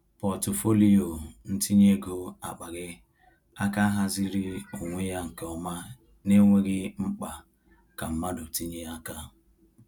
Pọtụfoliyo ntinye ego akpaghị aka haziri onwe ya nke ọma n’enweghị mkpa ka mmadụ tinye aka.